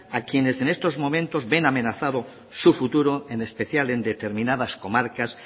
a quienes en estos momentos ven amenazado su futuro en especial en determinadas comarcas